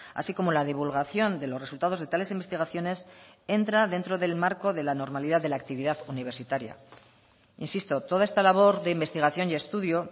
así como la divulgación de los resultados de tales investigaciones entra dentro del marco de la normalidad de la actividad universitaria insisto toda esta labor de investigación y estudio